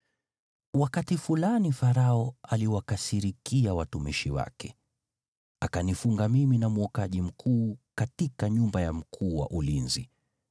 Wakati fulani Farao aliwakasirikia watumishi wake, akanifunga mimi na mwokaji mkuu katika nyumba ya mkuu wa ulinzi.